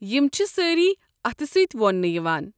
یم چھِ سٲری اتھٕ سۭتۍ وونٛنہٕ یوان۔